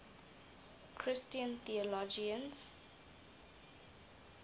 christian theologians